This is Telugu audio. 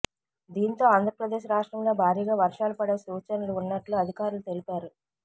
దీంతో ఆంధ్రప్రదేశ్ రాష్ట్రంలో భారీగా వర్షాలు పడే సూచనలు ఉన్నట్లు అధికారులు తెలిపారు